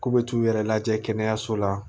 K'u bɛ t'u yɛrɛ lajɛ kɛnɛyaso la